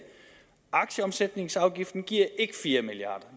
aktieomsætningsafgiften giver ikke fire milliard